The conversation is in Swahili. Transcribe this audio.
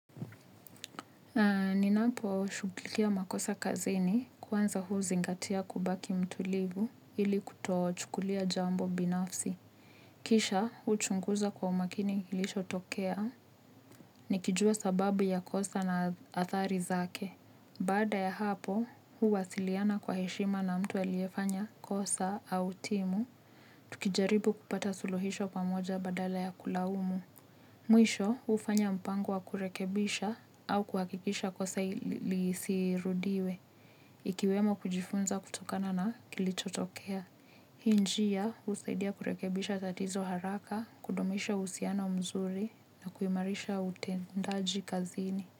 Ni napo shughulikia makosa kazini kwanza huzingatia kubaki mtulivu ili kutochukulia jambo binafsi. Kisha huchunguza kwa umakini kilicho tokea ni kijua sababu ya kosa na athari zake. Baada ya hapo, huwasiliana kwa heshima na mtu aliyefanya kosa au timu, tukijaribu kupata suluhisho pamoja badala ya kulaumu. Mwisho, hufanya mpango wa kurekebisha au kuhakikisha kosa lisirudiwe, ikiwemo kujifunza kutokana na kilichotokea. Hii njia, husaidia kurekebisha tatizo haraka, kudumisha uhusiano mzuri na kuimarisha utendaji kazini.